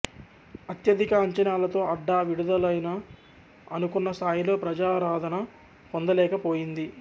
అత్యధిక అంచనాలతో అడ్డా విడుదలైనా అనుకున్న స్థాయిలో ప్రజాదరణ పొందలేకపోయింది